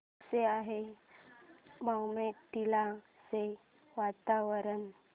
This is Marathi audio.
कसे आहे बॉमडिला चे वातावरण